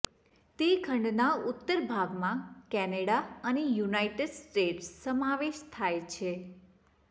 તે ખંડના ઉત્તર ભાગમાં કેનેડા અને યુનાઇટેડ સ્ટેટ્સ સમાવેશ થાય છે